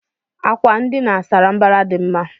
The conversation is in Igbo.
Àkwà ndina sárá mbara dị mma.